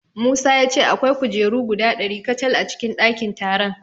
Musa ya ce akwai kujeru guda ɗari kacal a cikin ɗakin taron.